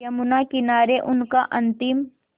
यमुना किनारे उनका अंतिम